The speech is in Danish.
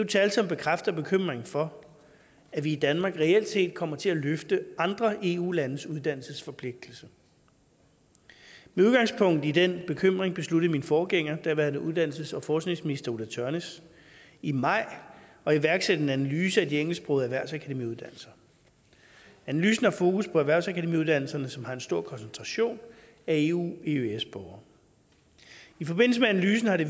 tal som bekræfter bekymringen for at vi i danmark reelt set kommer til at løfte andre eu landes uddannelsesforpligtelse med udgangspunkt i den bekymring besluttede min forgænger daværende uddannelses og forskningsminister ulla tørnæs i maj at iværksætte en analyse af de engelsksprogede erhvervsakademiuddannelser analysen har fokus på erhvervsakademiuddannelserne som har en stor koncentration af eueøs borgere i forbindelse med analysen har det